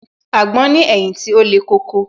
Àgbon ní ẹ̀yìn tí ó le koko